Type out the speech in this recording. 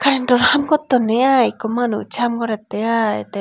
aindhar haan gottonnye i ikko manus haam gorettey i tey.